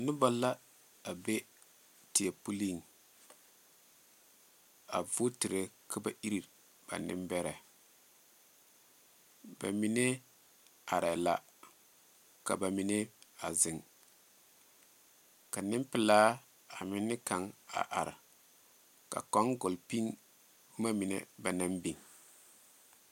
Noba la a be teɛ puliŋ a vootiri ka ba iri ba nembɛrɛ, bamine arɛɛ la ka bamine a zeŋ, ka nempelaa ane kaŋa a are, ka kaŋa gɔle piŋ boma mine ba naŋ biŋ.